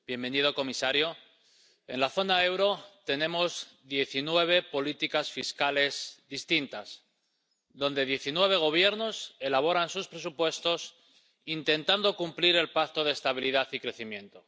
Señora presidenta, bienvenido comisario, en la zona euro tenemos diecinueve políticas fiscales distintas diecinueve Gobiernos elaboran sus presupuestos intentando cumplir el Pacto de Estabilidad y Crecimiento.